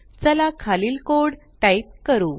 चला खालील code type करू